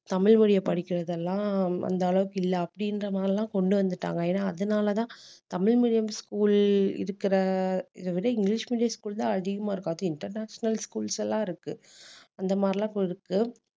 தமிழ் மொழிய படிக்கறதெல்லாம் அந்த அளவுக்கு இல்ல அப்படின்ற மாதிரி எல்லாம் கொண்டு வந்துட்டாங்க ஏன்னா அதனாலதான் தமிழ் medium school இருக்கிற இதைவிட இங்கிலிஷ் medium school தான் அதிகமா இருக்கும் அதுவும் international schools எல்லாம் இருக்கு அந்த மாதிரி எல்லாம்